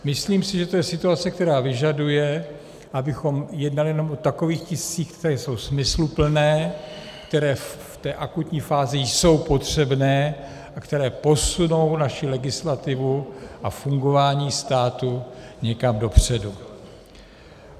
Myslím si, že to je situace, která vyžaduje, abychom jednali jenom o takových tiscích, které jsou smysluplné, které v té akutní fázi jsou potřebné a které posunou naši legislativu a fungování státu někam dopředu.